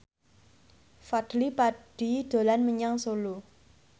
Fadly Padi dolan menyang Solo